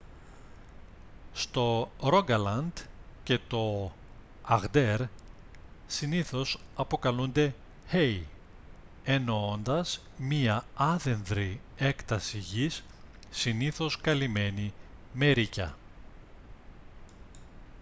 στο ρόγκαλαντ και το αγντέρ συνήθως αποκαλούνται «hei» εννοώντας μια άδενδρη έκταση γης συνήθως καλυμένη με ρείκια